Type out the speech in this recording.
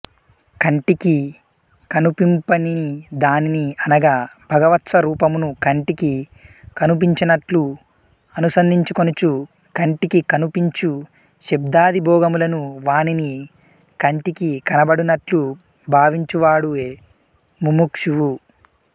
కంటికి కనుపింపనిధానిని అనగా భగవత్స్వరూపమును కంటికి కనుపించునట్లు అనుసంధించుకొనుచు కంటికి కనుపించు శబ్దాదిభోగములను వానిని కంటికికనబడునట్లు భావించువాడే ముముక్షువు